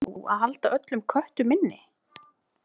Verður nú að halda öllum köttum inni?